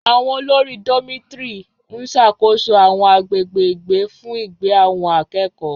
Àwọn olórí Dormitory ń ṣàkóso àwọn agbègbè ìgbé fún ìgbé àwọn akẹ́kọ̀ọ́.